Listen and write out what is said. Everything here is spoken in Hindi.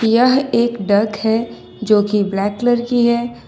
यह एक डक है जो की ब्लैक कलर की है।